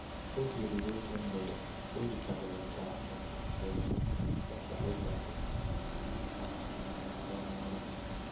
Oge ruru oge mgbede, o yikarịrị ka ọ bụ mgbe etiti abalị gasịrị, na “anya ha dị arọ” n’ụra.